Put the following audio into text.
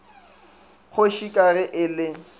kgoši ka ge e le